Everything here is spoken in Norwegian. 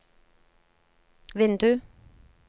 vindu